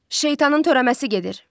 Şeytanın törəməsi gedir.